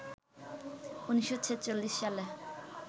১৯৪৬ সালে